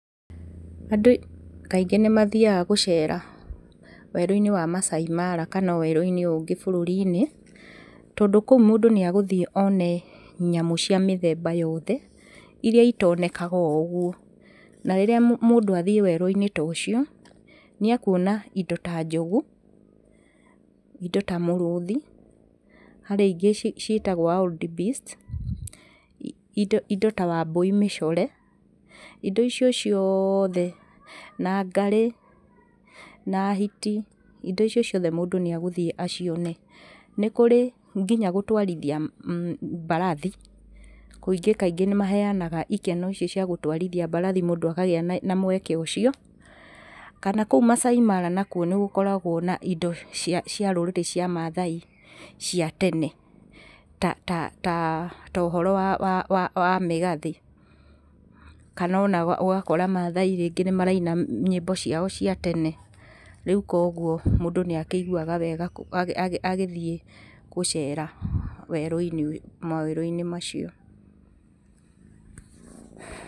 Andũ kaingĩ nĩ mathiaga gũcera werũ-inĩ wa Maasai Mara kana o werũ-inĩ ũngĩ wa bũrũri, tondũ kũu mũndũ nĩ agũthiĩ one nyamũ cia mũthemba yothe irĩa itonekaga o ũguo. Na rĩrĩa mũndũ athiĩ werũ-inĩ ta ucio, nĩ ekuona indo ta njogu, indo ta mũrũthi, harĩ ingĩ ciĩtagwo wild beast, indo ta wambũi mĩcore, indo icio ciothe na ngarĩ na hiti, indo icio ciothe mũndũ nĩ agũthiĩ acione. Nĩ kũrĩ nginya gũtwarithia mbarathi, kũingĩ kaingĩ nĩ maheanaga ikeno icio cia gũtwarithia mbarathi mũndũ akagĩa na mweke ũcio. Kana kũu Masaai Mara nakuo nĩ gũkoragwo na indo cia rũrĩrĩ cia mathai cia tene, ta ũhoro wa mĩgathĩ, kana ona ũgakora mathai rĩngĩ nĩ maraina nyĩmbo ciao cia tene. Rĩu koguo, mũndũ nĩ akĩiguaga wega agĩthiĩ gũcera werũ-inĩ ũyũ, mawerũ-inĩ macio.